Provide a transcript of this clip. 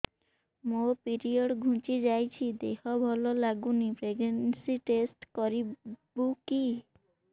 ମୋ ପିରିଅଡ଼ ଘୁଞ୍ଚି ଯାଇଛି ଦେହ ଭଲ ଲାଗୁନି ପ୍ରେଗ୍ନନ୍ସି ଟେଷ୍ଟ କରିବୁ କି